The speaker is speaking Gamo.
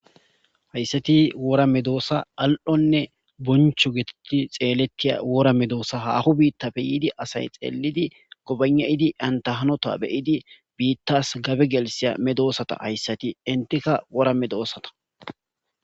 Haysathi wora medoosa al7onne bonchcho geethethidi xeelethiya wora medoosa; haaho biiththape yiidi asay xeellidi gobaygnayidi antha hanotha be7idi biiththasi gabe gelissiya medoosath hayssathi; enthika wora medoosatha.